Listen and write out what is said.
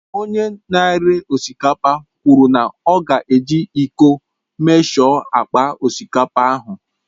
Onye na-ere osikapa kwụrụ na ọ ka ga eji ịko emeshọ akpa osikapa ahụ